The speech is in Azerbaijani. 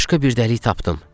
Başqa bir dəlik tapdım,